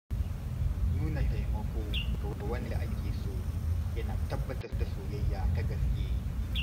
Nuna taimako ga wanda ake so yana tabbatar da soyayya ta gaske.